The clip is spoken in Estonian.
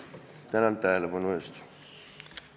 Tänan tähelepanu eest!